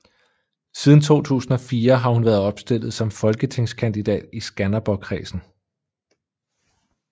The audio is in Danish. Siden 2004 har hun været opstillet som folketingskandidat i Skanderborgkredsen